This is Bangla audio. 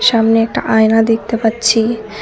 সামনে একটা আয়না দেখতে পাচ্ছি।